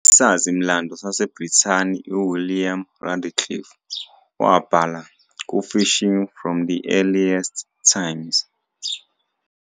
Isazi-mlando saseBrithani uWilliam Radcliffe wabhala "kuFishing from the Earliest Times.